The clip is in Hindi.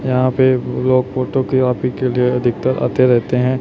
यहां पे लोग फोटोकीओपी के लिए अधिकतर आते रहते हैं।